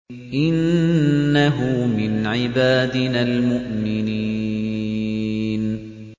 إِنَّهُ مِنْ عِبَادِنَا الْمُؤْمِنِينَ